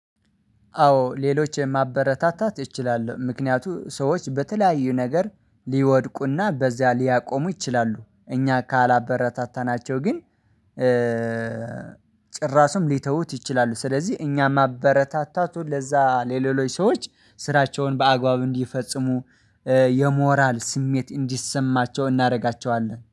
አዎ ሌሎች ማበረታታት እችላለሁ። ምክንያቱም ሰዎች በተለያዩ ነገር ሊወድቁና በዚያ ሊያቆሙ ይችላሉ። እኛ ካላበረታታናቸው ግን ጭራሹም ሊተውት ይችላሉ። ስለዚህ እኛ ማበረታታቱ ለዛ ለሌሎች ሰዎች ስራቸውን በአግባቡ እንዲፈጽሙ የሞራል ስሜት እንዲሰማቸው እናደርጋቸዋለን።